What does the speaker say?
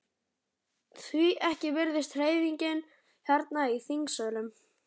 Því ekki virðist hreyfingin hérna í þingsölum?